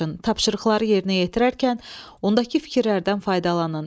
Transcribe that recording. Tapşırıqları yerinə yetirərkən ondaki fikirlərdən faydalanın.